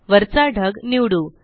वरचा ढग निवडू